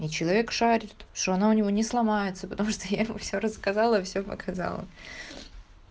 и человек шарит что она у него не сломается потому что я ему все рассказала все показала